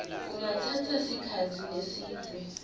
kungatsatsa sikhatsi lesidze